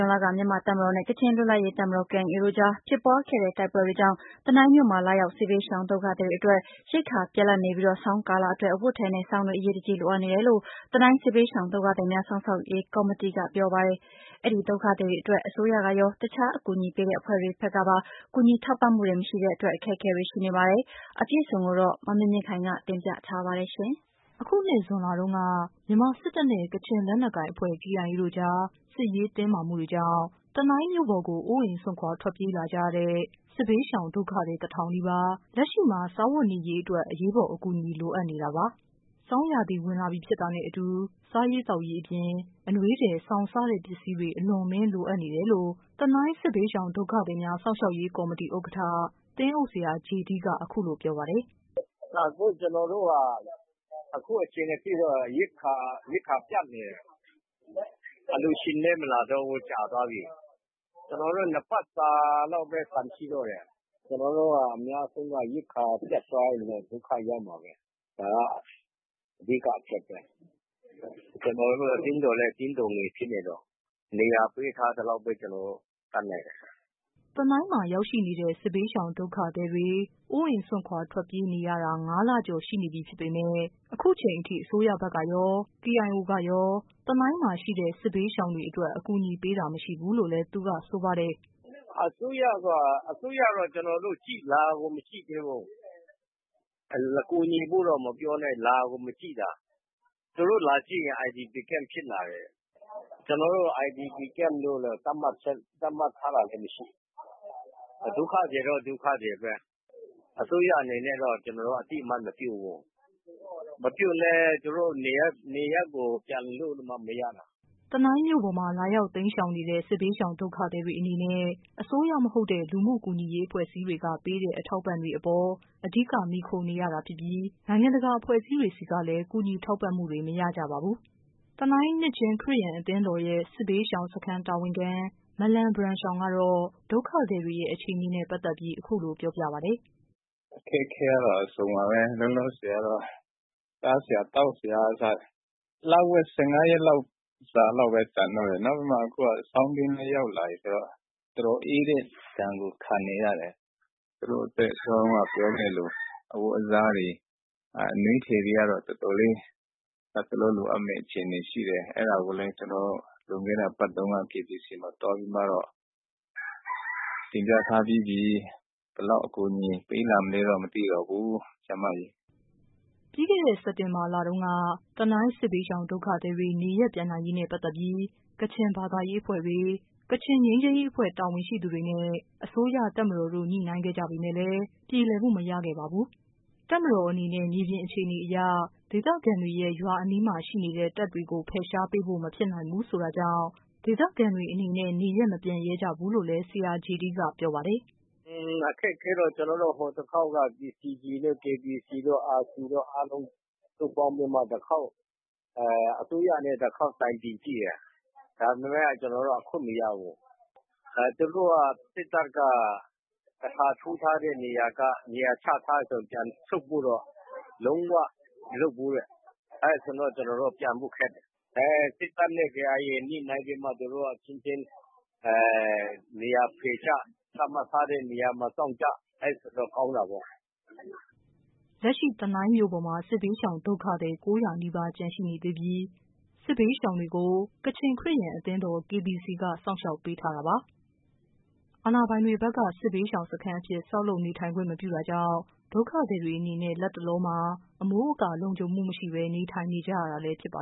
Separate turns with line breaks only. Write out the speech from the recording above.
ွန်လက မြန်မာ့ တပ်မတော်နဲ့ ကချင်လွတ်လပ်ရေးတပ်မတော် တို့ကြား ဖြစ်ပွား ခဲ့တဲ့ တိုက်ပွဲတွေကြောင့် တနိုင်းမြို့မှာ လာရောက် စစ်ဘေးရှောင် ဒုက္ခသည်တွေအတွက်ရိက္ခာပြတ်လပ်နေပြီး ဆောင်းကာလအတွက် အဝတ်အထည်နဲ့ စောင်တွေ အရေးတကြီး လိုအပ်နေ တယ်လို့ တနိုင်းစစ်ဘေးရှောင် ဒုက္ခသည်များ စောင့်ရှောက်ရေး ကော်မတီက ပြောပါတယ်။ အဲဒီဒုက္ခသည်တွေအတွက် အစိုးရကရော။ တခြားအကူအညီပေးတဲ့ အဖွဲ့တွေကရော အကူညီထောက်ပံ့မှုတွေ မရရှိတဲ့အတွက် အခက်အခဲရှိနေတဲ့အကြောင်း သတင်း အပြည့်အစုံကိုတော့ ဗွီအိုအေ မြန်မာပိုင်း သတင်းထောက် မမြင့်မြင့်ခိုင် က ပြောပြပေးပါမယ်။ အခုနှစ် ဇွန်လတုန်းက မြန်မာစစ်တပ်နဲ့ ကချင်လက်နက်ကိုင်အဖွဲ့ တို့ကြား စစ်ရေးတင်း မာမှုတွေကြောင့် တနိုင်းမြို့ပေါ်ကို အိုးအိမ် စွန့်ခွာ ထွက်ပြေးလာကြရတဲ့ စစ်ဘေးရှောင် ဒုက္ခသည် တ ထောင်နီးပါး လက်ရှိမှာ စားဝတ်နေရေးအတွက် အရေးပေါ် အကူအညီ လိုအပ်နေတာပါ။ ဆောင်းရာသီဝင်လာပြီဖြစ်တာနဲ့အတူ စားရေးသောက်ရေးအပြင် အနွေးထည် စောင်စတဲ့ပစ္စည်းတွေ အလွန်အမင်းလိုအပ်နေတယ်လို့ တနိုင်းစစ်ဘေးရှောင်ဒုက္ခသည်များ စောင့်ရှောက်ရေး ကော်မတီ ဥက္ကဌ သင်းအုပ်ဆရာ ဂျေဒီးက အခုလိုပြောပါတယ်
။ "အခုကျနော်တို့ အခုအချိန်အထိတော့ ရိက္ခာပြတ်နေတယ် အလှူရှင်ကလည်းမလာတော့ဘူး ကြာသွားပြီ ၂ ပတ်စာလောက်ပဲ ဆန်ရှိတော့တယ်။ ကျနေ်ာတို့အများစုက ရိက္ခာပြတ်သွားရင်တော့ ဒုက္ခရောက်မှာပဲ ဒါက အဓိကအချက်ပဲ။ ကျနော်တို့အသင်းတော်လည်း အသင်းတော်ဖြစ်နေတော့ နေရာပေးထားသလောက်ပဲ ကျနော်တို့ တတ်နိုင်တယ်။"
တနိုင်းမှာရောက်နေကြတဲ့ စစ်ဘေးရှောင်ဒုက္ခသည်တွေ အိုးအိမ်ပစ်ထွက်ပြေးတိမ်းရှောင်နေရတာ ၅ လကျော်ရှိနေပြီဖြစ်ပေမဲ့ ခုချိန်ထိ အစိုးရဖက်ကရော။ KIO ကရော တနိုင်းမှာရှိနေတဲ့ စစ်ဘေးရှောင်တွေအတွက် အကူညီပေးတာမရှိဘူးလို့လည်း သူက ဆိုပါတယ်
။ "အစိုးရကတော့ ကျနော်တို့ကို လာကိုမကြည့်သေးဘူး။ ကူညီဖို့တော့မပြောနဲ့ လာကိုမကြည့်တာ။ သူတို့လာကြည့်ရင် IDP စခန်းဖြစ်တာကို မြင်မှာပါ၊ အခုတော့ ကျနော်တို့ကို IDP camp လို့ သတ်မှတ်ထားတာလည်းမရှိဘူး။ ဒုက္ခသည် တော့ ဒုက္ခသည်ပဲ အစိုးရအနေနဲ့ကတော့ အသိအမှတ်မပြုဘူး။ မပြုလည်း ကျနော်တို့ နေရပ်ကို ပြန်လို့မှ မရတာ
။" တနိုင်းမြို့ပေါ်မှာ လာရောက်တိမ်းရှောင်နေကြတဲ့ စစ်ဘေးရှောင် ဒုက္ခသည်တွေအနေနဲ့ အစိုးရမဟုတ်တဲ့ လူမှု ကူညီ ရေးအဖွဲ့အစည်းတွေက ပေးတဲ့ အထောက်အပံ့တွေအပေါ် အဓိက မှီခိုနေရတာဖြစ်ပြီး နိုင်ငံတကာ အဖွဲ့ အစည်းတွေဆီကလည်း ကူညီထောက်ပံ့မှုတွေ မရကြပါဘူး။ တနိုင်း နှစ်ခြင်း ခရစ်ယာန်အသင်းတော်ရဲ့ စစ်ရှောင်စခန်း တာဝန်ခံ မလန် ဘရန်ရှောင်ကတော့ ဒုက္ခသည်တွေရဲ့ အခြေအနေနဲ့ ပတ်သက်ပြီး အခုလို ပြောပြပါတယ်
။ "အခက်အခဲကတော့ အစုံပါပဲ လောလောဆည်ကတော့ စားစရာသောက်စရာက အခုလဝက် ၁၅ ရက်လောက်ပဲ ကျန်တော့တယ်။ နောက်ပြီးတော့ အခုက ဆောင်းတွင်းလည်းရောက်လာပြီဆိုတော့ တော်တော်အေးတဲ့ ဒဏ်ကို ခံနေရတယ်။ သူတို့အတွက် ဆောင်တွင်းအဝတ်အစား အနွေးထည်ကတော့ တော်တော်လေး လက်တလောလိုအပ်မယ့် အခြေအနေရှိတယ်။ အဲဒါကိုလည်း ကျနော်တို့ လွန်ခဲ့တဲ့အပတ်တုန်းက KBC မှာသွားပြီးတော့ တင်ပြထားပြီးပြီ။ ဘယ်လောက်အကူအညီပေးလာမလဲတော့ မသိတော့ဘူး ဆရာမရေ။
" ပြီးခဲ့တဲ့ စက်တင်ဘာလတုန်းက တနိုင်း စစ်ဘေးရှောင် ဒုက္ခသည်တွေ နေရပ်ပြန်နိုင်ရေးနဲ့ ပတ်သက်ပြီး ကချင်ဘာသာရေးအဖွဲ့တွေ၊ ကချင်ငြိမ်းချမ်းရေးအဖွဲ့ တာဝန်ရှိသူတွေနဲ့ အစိုးရ၊ တပ်မတော်တို့ ညှိနှိုင်းခဲ့ကြပေမယ့်လည်း ပြေလည်မှုမရခဲ့ပါဘူး။ တပ်မတော်အနေနဲ့ မြေပြင်အခြေအနေအရ ဒေသခံ တွေရဲ့ ရွာအနီးမှာရှိနေတဲ့ တပ်တွေကို ဖယ်ရှားပေးဖို့ မဖြစ်နိုင်ဘူးလို့ ဆိုတာကြောင့် ဒေသခံတွေအနေနဲ့ နေရပ်မပြန်ရဲကြဘူးလို့ ဆရာဂျေဒီးက ပြောပါတယ်။
"အခက်အခဲကတော့ ကျနော်တို့ ဟိုတခေါက်ကတော့ PCG နဲ့ KBC တို့ RC အားလုံးပေါင်းပြီးမှ အစိုးရနဲ့ အားလုံးတခေါက်တိုင်ပင်ကြည့်တယ်။ ဒါပေမယ့် ကျနော်တို့ အခွင့်မရဘူး။ သူတို့စစ်တပ်က နေရာတခါယူရင် ပြန်ဆုတ်ဖို့တော့ လုံးဝမလုပ်ဘူးတဲ့။ အဲဒါဆိုတော့ ကျနော်တို့က ပြန်ဖို့ခက်တယ်။ စစ်တပ်နဲ့ KIA ညှိနှိုင်းပြီးတော့မှ သူတို့အချင်းချင်း နေရာဖယ်ကြ သတ်မှတ်ထားတဲ့နေရာမှာ စောင့်ကြဆိုရင်တော့ ကောင်းတာပေါ့။"
လက်ရှိ တနိုင်းမြို့ပေါ်မှာ စစ်ဘေးရှောင်ဒုက္ခသည် ၉၀၀နီးပါး ကျန်ရှိနေသေးပြီး စစ်ဘေးရှောင် တွေကို ကချင်ခရစ်ယာန် အသင်းတော် KBC က စောင့်ရှောက်ပေးထားတာပါ။ အာဏာပိုင်တွေ ဘက် က စစ်ဘေးရှောင်စခန်းအဖြစ် ဆောက်လုပ်နေထိုင် ခွင့်မပြုတာကြောင့် ဒုက္ခသည်တွေအနေနဲ့ လတ်တ လောမှာ အမိုးအကာ လုံခြုံမှု မရှိဘဲ နေထိုင်နေကြရတာလည်း ဖြစ်ပါ